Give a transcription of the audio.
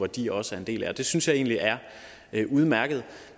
de også er en del af det synes jeg egentlig er er udmærket